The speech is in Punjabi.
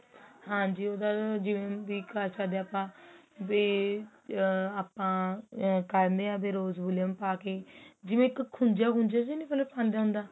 ਹਾਂਜੀ ਉਹਦਾ ਜਿਵੇਂ ਵੀ ਘਰ ਸਾਡੇ ਆਪਾ ਵੀ ਅਹ ਆਪਾ ਕਹਿਣੇ ਹਾਂ ਆਪਾ rose Valium ਪਾਕੇ ਜਿਵੇਂ ਇੱਕ ਖੁੱਜਾ ਖੁੱਜਾ